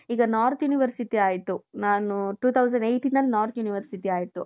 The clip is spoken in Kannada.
ಈಗ north university ಆಯ್ತು ನಾನು two thousand eightಯಿಂದ north university ಆಯ್ತು.